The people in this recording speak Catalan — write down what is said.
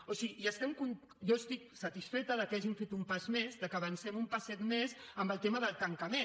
o sigui jo estic satisfeta que hàgim fet un pas més que avancem un passet més en el tema del tancament